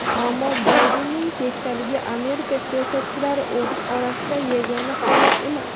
Ammo Baydenning keksaligi Amerika siyosatchilari orasida yagona holat emas.